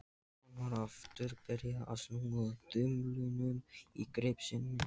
Hann var aftur byrjaður að snúa þumlunum í greip sinni.